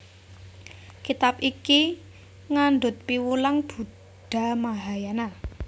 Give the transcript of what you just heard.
Kitab iki ngandhut piwulang Buddha Mahayana